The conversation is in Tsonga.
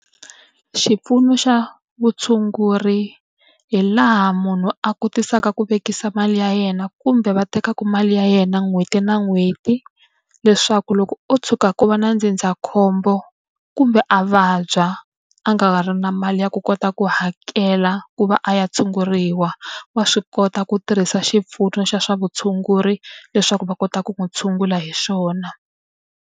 Xipfuno xa vutshunguri hi laha munhu a kotisaka ku vekisa mali ya yena kumbe va tekaka mali ya yena n'hweti na n'hweti, leswaku loko ko tshuka ku va na ndzindzakhombo kumbe a vabya a nga ri na mali ya ku kota ku hakela ku va a ya tshunguriwa, wa swi kota ku tirhisa xipfuno xa swa vutshunguri leswaku va kota ku n'wi tshungula hi xona.